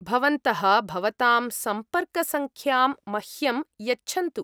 भवन्तः भवताम् सम्पर्कसङ्ख्यां मह्यं यच्छन्तु।